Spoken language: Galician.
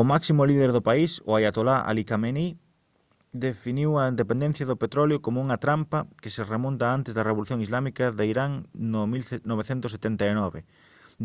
o máximo líder do país o aiatolá ali khamenei definiu a dependencia do petróleo como unha trampa que se remonta a antes da revolución islámica de irán no 1979